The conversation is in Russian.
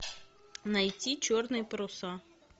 найти черные паруса